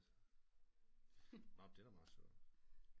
Nå men det er da meget sjovt